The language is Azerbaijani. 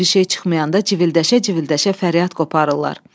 Bir şey çıxmayanda civildəşə-civildəşə fəryad qopardırlar.